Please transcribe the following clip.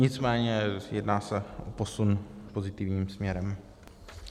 Nicméně jedná se o posun pozitivním směrem.